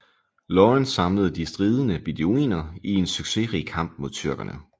Lawrence samlede de stridende beduiner i en succesrig kamp mod tyrkerne